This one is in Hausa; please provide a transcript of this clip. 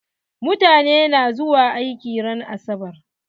Mutane na zuwa aiki ran asabar?